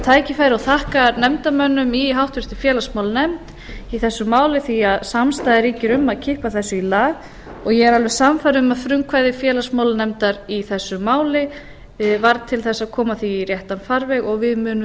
tækifæri og þakka nefndarmönnum í háttvirtri félagsmálanefnd í þessu máli því að samstaða ríkir um að kippa þessu í lag og ég er alveg sannfærð um að frumkvæði félagsmálanefndar í þessu máli varð til þess að koma því í réttan farveg og við munum